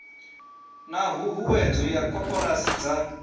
na huhuwedzo ya koporasi dza